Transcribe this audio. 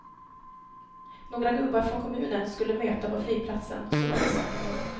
Några gubbar från kommunen skulle möta på flygplatsen, så var det sagt.